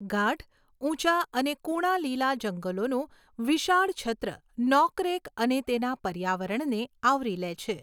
ગાઢ, ઊંચા અને કુણા લીલા જંગલોનું વિશાળ છત્ર નોકરેક અને તેના પર્યાવરણને આવરી લે છે.